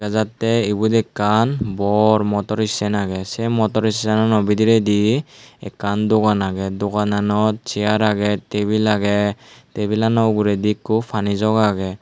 jattey ibot ekkan bor motor stand agey se motor stagnant bidiredi ekandogan agey dogananot chair agey tebil agey tebilano uguredi ekko pani jog agey.